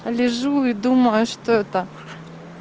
а лежу и думаю что это